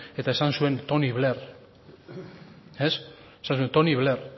eta esan zuen tony blair esan zuen tony blair